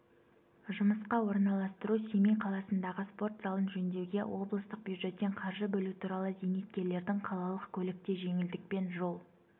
жұмысқа орналастыру семей қаласындағы спорт залын жөндеуге облыстық бюджеттен қаржы бөлу туралы зейнеткерлердің қалалық көлікте жеңілдікпен жол